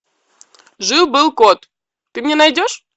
жил был кот ты мне найдешь